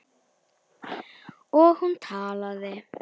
Og hún talaði.